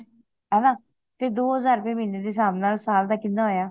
ਹੈਨਾ ਤੇ ਦੋ ਹਜਾਰ ਰੁਪਏ ਮਹੀਨੇ ਦੇ ਹਿਸਾਬ ਦੇ ਨਾਲ ਸਾਲ ਦਾ ਕਿਹਨਾਂ ਹੋਯਾ